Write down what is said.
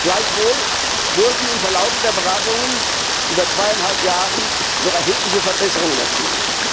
Gleichwohl wurden im Verlaufe der Beratungen über zweieinhalb Jahre noch erhebliche Verbesserungen erzielt.